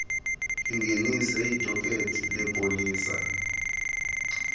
lingenise idokethi lepolisa